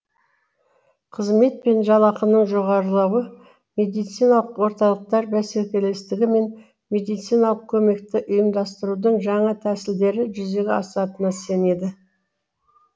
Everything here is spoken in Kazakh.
қызмет пен жалақының жоғарылауы медициналық орталықтар бәсекелестігі мен медициналық көмекті ұйымдастырудың жаңа тәсілдері жүзеге асатынына сенеді